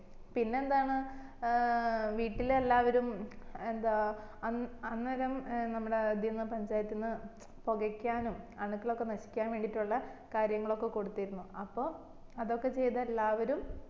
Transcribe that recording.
പിന്നെ എന്താണ് ഏർ വീട്ടില് എല്ലാവരും എന്താ അന്ന് അന്നേരം ഏർ നമ്മടെ ഇതിന്ന് പഞ്ചായത്തിന്ന് പോകയിക്കാനും അണുക്കളൊക്കെ നശിക്കാനും വേണ്ടിയിട്ടില്ല കാര്യങ്ങളൊക്കെ കൊടുതിരുന്നു അപ്പൊ അതൊക്കെ എല്ലാവരും